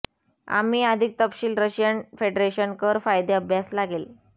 आम्ही अधिक तपशील रशियन फेडरेशन कर कायदे अभ्यास लागेल